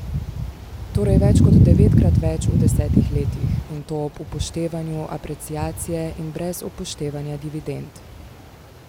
Torej več kot devetkrat več v desetih letih, in to ob upoštevanju apreciacije in brez upoštevanja dividend!